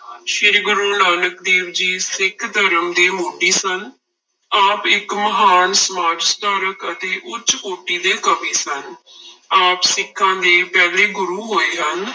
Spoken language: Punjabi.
ਸ੍ਰੀ ਗੁਰੂ ਨਾਨਕ ਦੇਵ ਜੀ ਸਿੱਖ ਧਰਮ ਦੇ ਮੋਢੀ ਸਨ, ਆਪ ਇੱਕ ਮਹਾਨ ਸਮਾਜ ਸੁਧਾਰਕ ਅਤੇ ਉੱਚ ਕੋਟੀ ਦੇ ਕਵੀ ਸਨ ਆਪ ਸਿੱਖਾਂਂ ਦੇ ਪਹਿਲੇ ਗੁਰੂ ਹੋਏ ਹਨ।